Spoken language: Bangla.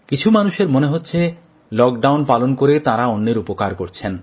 কিছু মানুষের মনে হচ্ছে লকডাউন পালন করে তাঁরা অন্যের উপকার করছেন